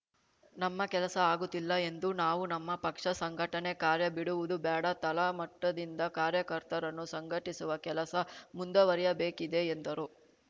ನಮ್ಮ ಕೆಲಸ ಆಗುತ್ತಿಲ್ಲ ಎಂದು ನಾವು ನಮ್ಮ ಪಕ್ಷ ಸಂಘಟನೆ ಕಾರ್ಯ ಬಿಡುವುದು ಬೇಡ ತಳಮಟ್ಟದಿಂದ ಕಾರ್ಯಕರ್ತರನ್ನು ಸಂಘಟಿಸುವ ಕೆಲಸ ಮುಂದುವರಿಯಬೇಕಿದೆ ಎಂದರು